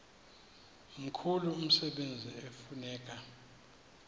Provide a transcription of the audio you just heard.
mkhulu umsebenzi ekufuneka